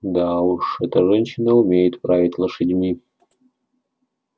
да уж эта женщина умеет править лошадьми